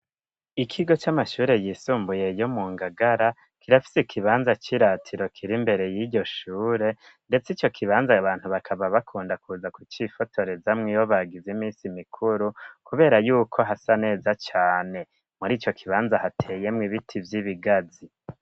Ikigo c'amashure yisumbuye yo mu Ngagara, kirafise ikibanza c'iratiro kiri imbere y'iryo shure, ndetse ico kibanza abantu bakaba bakunda kuza kucifotorezamwo iyo bagize imisi mikuru, kubera yuko hasa neza cane. Muri ico kibanza hateyemwo ibiti vy'ibigazi.